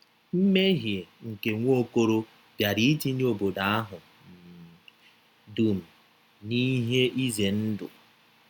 Mmehie nke Nwaokolo bịara itinye obodo ahụ um dum n’ihe ize ndụ.